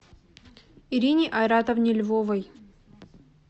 ирине айратовне львовой